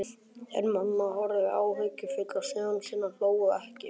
En mamma horfði áhyggjufull á soninn, hló ekki.